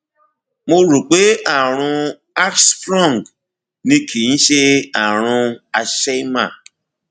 mo rò pé àrùn hirschsprung ni kì í ṣe àrùn hersheimer